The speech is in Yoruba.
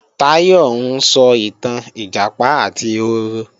Táyọ̀ ń sọ ìtàn Ìjàpá àti ehoro